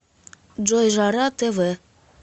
джой жара тэ вэ